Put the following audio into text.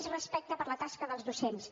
més respecte per la tasca dels docents